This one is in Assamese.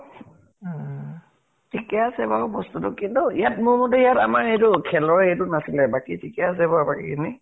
উম । ঠিকে আছে বাৰু বস্তুটো । কিন্তু ইয়াত মোৰ মতে ইয়াত আমাৰ খেলৰ এইটো খেলৰ হেৰিটো নাছিলে । বাকী ঠিকেই আছে বাৰু বাকীখিনি